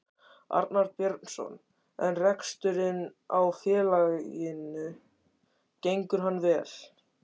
Arnar Björnsson: En reksturinn á félaginu gengur hann vel?